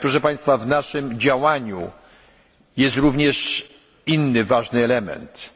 Proszę państwa, w naszym działaniu jest również inny ważny element